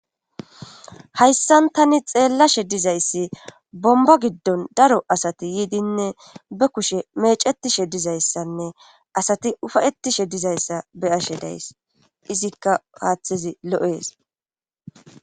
hayssan tani xeellashe dizayssi bomba giddon daro asati yiidinne be kushe mecetishe dizayssanne asati ufayetishe dizayssa be ashe days izikka haaththezi lo7ees